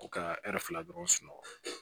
U ka fila dɔrɔn sunɔgɔ